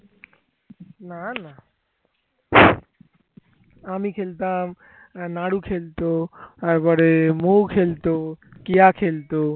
আমি খেলতাম নাড়ু খেলতো তারপরে মৌ খেলতো কেয়া খেলতো